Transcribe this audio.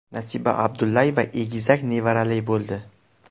Nasiba Abdullayeva egizak nevarali bo‘ldi.